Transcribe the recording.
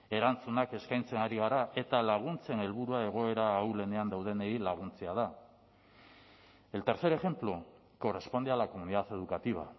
erantzunak eskaintzen ari gara eta laguntzen helburua egoera ahulenean daudenei laguntzea da el tercer ejemplo corresponde a la comunidad educativa